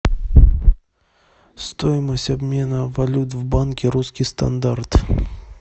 стоимость обмена валют в банке русский стандарт